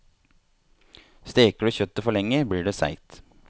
Steker du kjøttet for lenge, blir det seigt.